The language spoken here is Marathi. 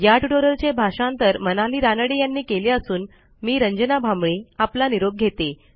या ट्युटोरियलचे भाषांतर मनाली रानडे यांनी केले असून मी रंजना भांबळे आपला निरोप घेते